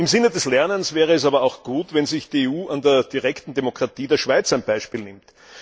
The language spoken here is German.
Im Sinne des Lernens wäre es aber auch gut, wenn sich die EU an der direkten Demokratie der Schweiz ein Beispiel nähme.